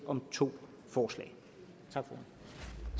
om to forslag